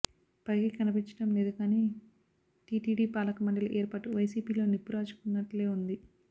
పైకి కనిపించడం లేదు కానీ టీటీడీ పాలకమండలి ఏర్పాటు వైసీపీలో నిప్పు రాజుకున్నట్లే ఉంది